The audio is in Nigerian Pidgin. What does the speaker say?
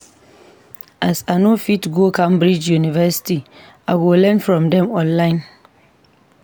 As I no fit go Cambridge University, I go learn from dem online.